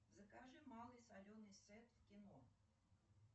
закажи малый соленый сет в кино